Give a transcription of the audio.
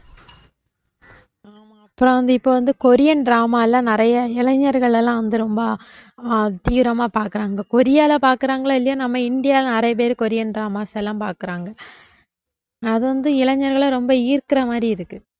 அப்புறம் வந்து இப்ப வந்து கொரியன் drama லாம் நிறைய இளைஞர்கள் எல்லாம் வந்து ரொம்ப அஹ் தீவிரமா பார்க்கிறாங்க கொரியால பாக்குறாங்களோ இல்லையோ நம்ம இந்தியால நிறைய பேர் கொரியன் dramas எல்லாம் பாக்குறாங்க அது வந்து இளைஞர்களை ரொம்ப ஈர்க்கிற மாதிரி இருக்கு